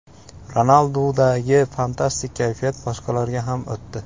Ronaldudagi fantastik kayfiyat boshqalarga ham o‘tdi.